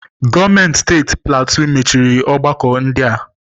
Gọọmenti steeti Platue machiri ọgbakọ ndị a.